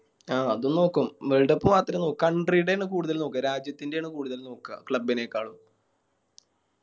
ആ അതും നോക്കും Worldcup മാത്രേ Country ടെ ആണ് കൂടുതൽ നോക്ക രാജ്യത്തിൻറെ ആണ് കൂടുതൽ നോക്ക Club നെക്കാളും